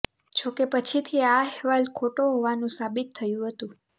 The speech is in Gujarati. જોકે પછીથી આ અહેવાલ ખોટો હોવાનું સાબિત થયું હતું